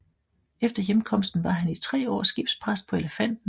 Efter hjemkomsten var han i 3 år skibspræst på Elefanten